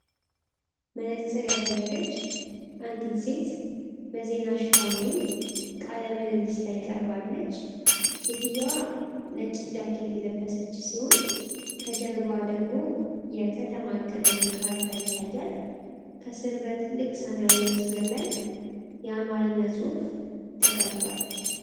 መነጽር ያደረገች አንዲት ሴት በዜና ሽፋን ወይም ቃለ ምልልስ ላይ ቀርባለች። ሴትየዋ ነጭ ጃኬት የለበሰች ሲሆን፣ ከጀርባዋ ደግሞ የከተማ ዕቅድ ወይም ካርታ ይታያል። ከስር በትልቅ ሰማያዊ መስመር ላይ የአማርኛ ጽሑፍ ተቀምጧል።